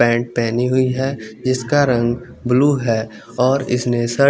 paint पेनी हुई है जिसका रंग ब्लू है और इसमें शर्ट --